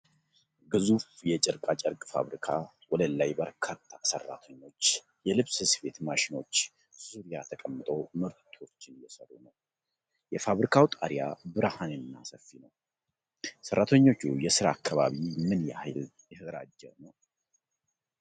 ግዙፍ የጨርቃጨርቅ ፋብሪካ ወለል ላይ በርካታ ሰራተኞች የልብስ ስፌት ማሽኖች ዙሪያ ተቀምጠው ምርቶችን እየሰሩ ነው። የፋብሪካው ጣሪያ ብርሃንና ሰፊ ነው። የሰራተኞቹ የስራ አካባቢ ምን ያህል የተደራጀ ነው? (27 ቃላት)